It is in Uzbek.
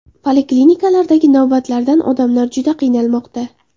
Poliklinikalardagi navbatlardan odamlar juda qiynalmoqda.